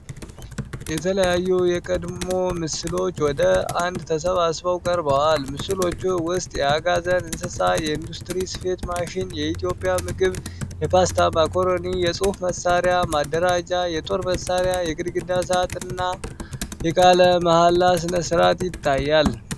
የተለያዩ የቀድሞ ምስሎች ወደ አንድ ተሰባስበው ቀርበዋል። በምስሎቹ ውስጥ የአጋዘን እንስሳ፣ የኢንዱስትሪ ስፌት ማሽን፣ የኢትዮጵያ ምግብ፣ የፓስታ ማካሮኒ፣ የጽህፈት መሳሪያ ማደራጃ፣ የጦር መሳሪያ፣ የግድግዳ ሰዓትና የቃለ መሃላ ሥነ ሥርዓት ይታያሉ።